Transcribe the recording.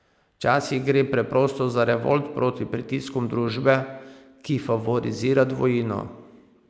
Včasih gre preprosto za revolt proti pritiskom družbe, ki favorizira dvojino.